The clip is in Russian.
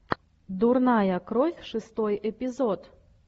дурная кровь шестой эпизод